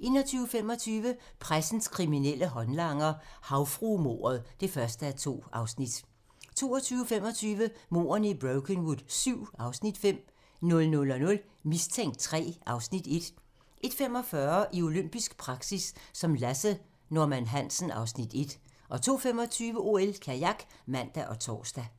21:25: Pressens kriminelle håndlanger - Havfruemordet (1:2) 22:25: Mordene i Brokenwood VII (Afs. 5) 00:00: Mistænkt III (Afs. 1) 01:45: I olympisk praktik som Lasse Norman Hansen (Afs. 1) 02:25: OL: Kajak (man og tor)